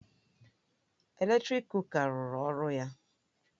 Eletrik kuka ruru ọrụ ya